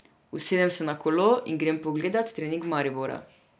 Usedem se na kolo in grem pogledat trening Maribora.